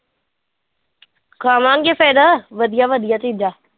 ਖਾਵਾਂਗੇ ਫਿਰ ਵਧੀਆ ਵਧੀਆ ਚੀਜ਼ਾਂ।